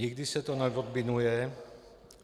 Nikdy se to neodminuje.